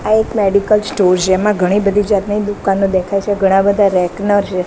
આ એક medical store જેમાં ઘણી બધી જાતની દુકાનો દેખાય છે ઘણા બધા છે.